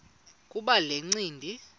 kuba le ncindi